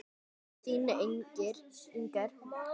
Þín, Inger.